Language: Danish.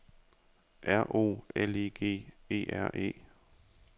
R O L I G E R E